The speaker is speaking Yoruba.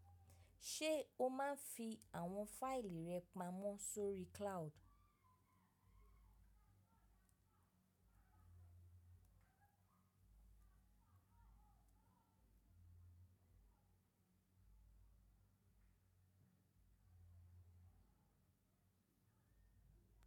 Ṣé o máa ń fi àwọn fáìlì rẹ pamọ́ sórí cloud?